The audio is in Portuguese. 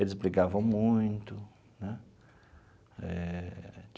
Eles brigavam muito né eh.